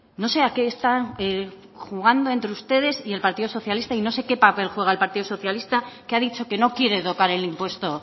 no sé a qué están jugando entre ustedes y el partido socialista y no sé qué papel juega el partido socialista que ha dicho que no quiere tocar el impuesto